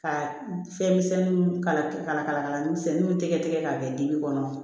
Ka fɛn misɛnninw kala kala kala misɛnninw tɛgɛ tigɛ ka kɛ dibi kɔnɔ